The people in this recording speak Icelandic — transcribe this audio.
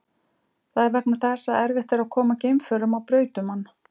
Það er vegna þess að erfitt er að koma geimförum á braut um hann.